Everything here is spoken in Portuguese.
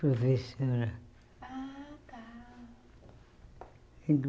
Professora. Ah tá